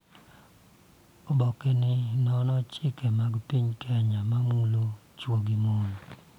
Oboke ni nono chike mag piny Kenya ma mulo chwo gi mon,